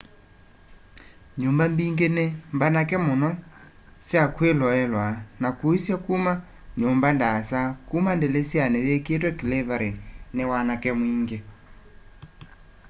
nyumba mbingi ni mbanake muno kya kwiloelwaa na kuisya kuma nyumba ndaasa kuma ndilisyani yikiitwe clevery ni wanake mwingi